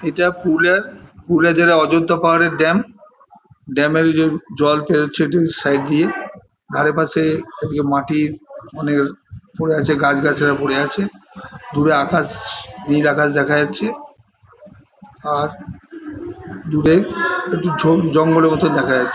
ইটা পুরুলিয়া পুরুলিয়া জেলা অযোদ্ধা পাহাড়ের dam dam -এর ঐযে জল ফেলছে সাইড দিয়ে ধারে পাশে-এ এদিকে মাটির অনের পরে আছে অনেক গাছ গাছড়া পরে আছে দূরে আকাশ নীল আকাশ দেখা যাচ্ছে আর দূরে একটু জঙ্গলের মত দেখা যাচ্ছে।